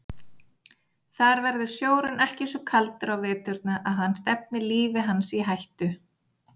Þar verður sjórinn ekki svo kaldur á veturna að hann stefni lífi hans í hættu.